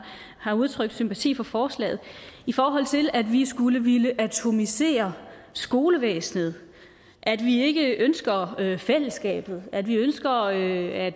har udtrykt sympati for forslaget i forhold til at vi skulle ville atomisere skolevæsenet at vi ikke ønsker fællesskabet at vi ønsker at at